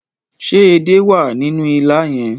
Ṣé edé wà nínú ilá yẹn?